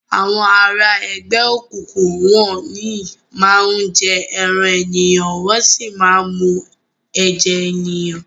Awòn àrá ègbè ókúkú wòn yi má n jè èrán éniyán wòn si má n mú èjè éniyán